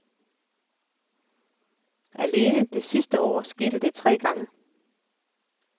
Alene sidste år skete det tre gange.